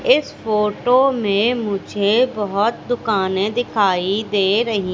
इस फोटो में मुझे बहोत दुकानें दिखाई दे रही--